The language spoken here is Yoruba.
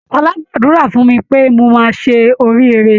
Ṣọlá gbàdúrà fún mi pé mo máa ṣe oríire.